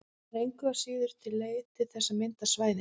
Það er engu að síður til leið til þess að mynda svæðin.